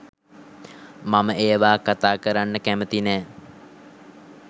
මම ඒවා කතා කරන්න කැමති නැ.